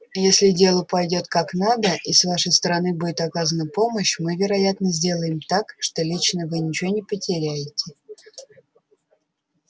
если дело пойдёт как надо и с вашей стороны будет оказана помощь мы вероятно сделаем так что лично вы ничего не потеряете